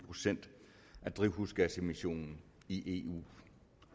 procent af drivhusgasemissionen i eu